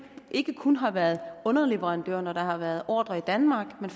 ikke kun har været underleverandør når der har været ordrer i danmark men